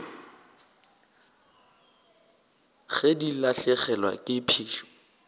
ge di lahlegelwa ke phišo